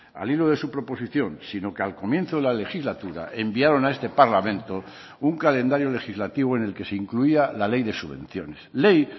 al hilo de su proposición sino que al comienzo de la legislatura enviaron a este parlamento un calendario legislativo en el que se incluía la ley de subvenciones ley